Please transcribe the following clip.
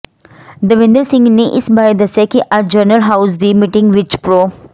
ਦਵਿੰਦਰ ਸਿੰਘ ਨੇ ਇਸ ਬਾਰੇ ਦੱਸਿਆ ਕਿ ਅੱਜ ਜਨਰਲ ਹਾਊਸ ਦੀ ਮੀਟਿੰਗ ਵਿਚ ਪ੍ਰੋ